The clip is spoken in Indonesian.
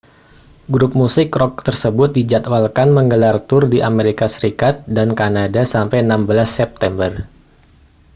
grup musik rok tersebut dijadwalkan menggelar tur di amerika serikat dan kanada sampai 16 september